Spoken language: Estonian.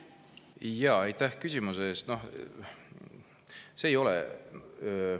Aitäh küsimuse eest!